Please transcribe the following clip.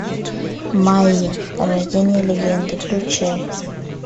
майя рождение легенды включай